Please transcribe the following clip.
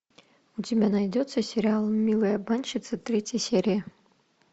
у тебя найдется сериал милые обманщицы третья серия